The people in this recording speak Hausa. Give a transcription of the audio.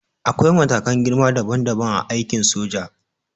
Akwai matakan girma dabam dabam a aikin soja.